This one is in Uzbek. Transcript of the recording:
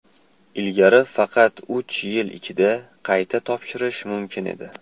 Ilgari faqat uch yil ichida qayta topshirish mumkin edi.